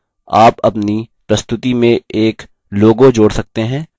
उदाहरणस्वरूप आप अपनी प्रस्तुति में एक logo जोड़ सकते हैं